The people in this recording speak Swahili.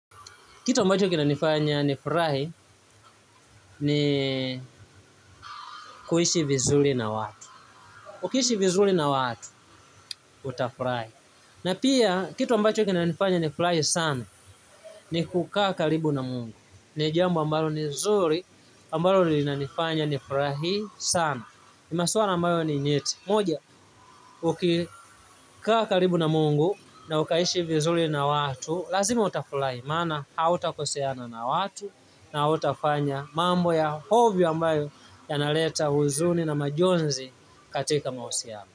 Kitu ambacho kinanifanya nifurahi ni kuishi vizuri na watu. Ukiishi vizuri na watu, utafurahi. Na pia, kitu ambacho kinanifanya nifurahi sana, ni kukaa karibu na Mungu. Ni jambo ambalo ni zuri, ambalo linanifanya nifurahi sana. Na maswala ambayo ni nyeti. Moja, ukikaa karibu na Mungu na ukaishi vizuri na watu, lazima utafurahi. Maana hautakoseana na watu na hautafanya mambo ya hovyo ambayo yanaleta huzuni na majonzi katika mahusiano.